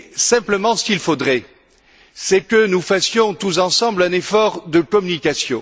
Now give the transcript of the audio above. Simplement, ce qu'il faudrait, c'est que nous fassions tous ensemble un effort de communication.